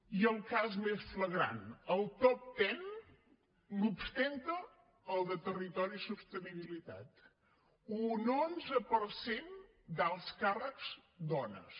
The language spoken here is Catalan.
i el cas més flagrant el top ten l’ostenta el de territori i sostenibilitat un onze per cent d’alts càrrecs dones